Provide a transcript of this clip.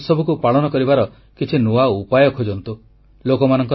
ସ୍ୱାଧୀନତାର ଏହି ଉତ୍ସବକୁ ପାଳନ କରିବାର କିଛି ନୂଆ ଉପାୟ ଖୋଜନ୍ତୁ